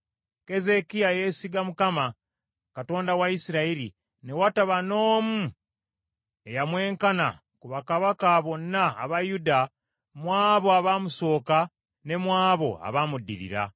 Keezeekiya yeesiga Mukama , Katonda wa Isirayiri, ne wataba n’omu eyamwenkana ku bakabaka bonna aba Yuda mu abo abaamusooka ne mu abo abamuddirira.